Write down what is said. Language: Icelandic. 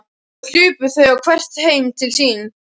Og hlupu þau þá hvert heim til sín.